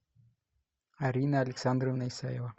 арина александровна исаева